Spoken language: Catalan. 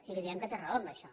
i li diem que té raó en això